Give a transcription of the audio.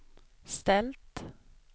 ställt